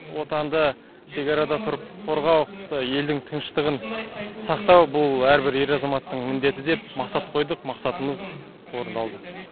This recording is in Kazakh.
отанды шекарада тұрып қорғау елдің тыныштығын сақтау бұл әр бір ер азаматтың міндеті деп мақсат қойдық мақсатымыз орындалды